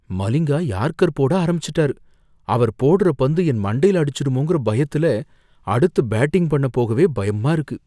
Malinga yorker போட ஆரம்பிச்சிட்டாரு, அவர் போடுற பந்து என் மண்டைல அடிச்சிடுமோங்கற பயத்துல அடுத்து பேட்டிங் பண்ண போகவே பயமா இருக்கு.